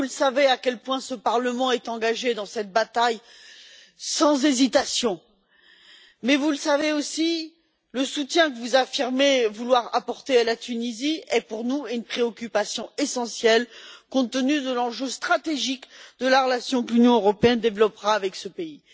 Vous savez à quel point ce Parlement est résolument engagé dans cette bataille, mais vous savez aussi que le soutien que vous affirmez vouloir apporter à la Tunisie est pour nous une préoccupation essentielle, compte tenu de l'enjeu stratégique de la relation que l'Union européenne développera avec ce pays.